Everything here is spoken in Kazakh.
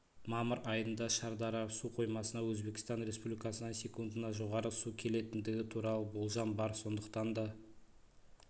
мамыр айында шардара су қоймасына өзбекстан республикасынан секундына жоғары су келетіндігі туралы болжам бар сондықтан да